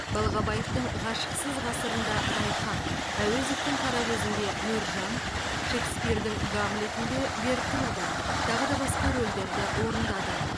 балғабаевтың ғашықсыз ғасырында райхан әуезовтің қаракөзінде мөржан шекспирдің гамлетінде гертруда тағыда басқа рольдерді орындады